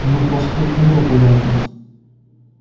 ну проспект мира понятно